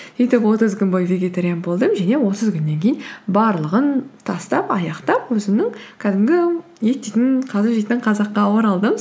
сөйтіп отыз күн бойы вегетариан болдым және отыз күннен кейін барлығын тастап аяқтап өзімнің кәдімгі ет жейтін қазы жейтін қазаққа оралдым